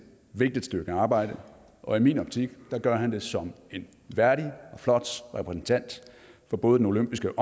vigtigt stykke arbejde og i min optik gør han det som en værdig og flot repræsentant for både den olympiske